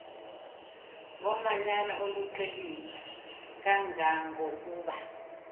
ngomanyano oluqilima kangangokuba